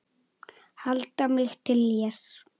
Halda mig til hlés.